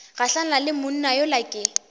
gahlane le monna yola ke